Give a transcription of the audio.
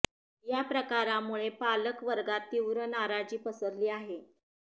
या प्रकारामुळे पालक वर्गात तीव्र नाराजी पसरली आहे